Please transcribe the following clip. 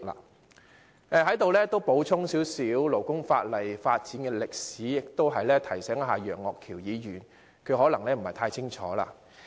我在此亦稍微補充勞工法例的發展歷史，同時亦提醒楊岳橋議員，他可能不太清楚。